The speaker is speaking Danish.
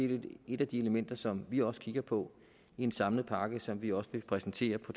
det et af de elementer som vi også kigger på i en samlet pakke som vi også vil præsentere på